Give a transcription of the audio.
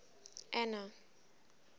anna